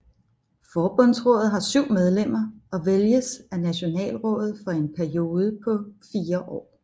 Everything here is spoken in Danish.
Forbundsrådet har syv medlemmer og vælges af Nationalrådet for en periode på fire år